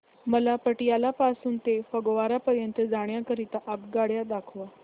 मला पटियाला पासून ते फगवारा पर्यंत जाण्या करीता आगगाड्या दाखवा